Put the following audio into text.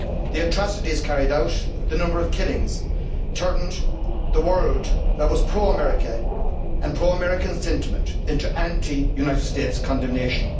The atrocities carried out, the number of killings, turned the world, which was pro America, and pro American sentiment into anti United States condemnation.